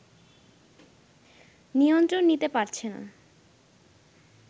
নিয়ন্ত্রণ নিতে পারছে না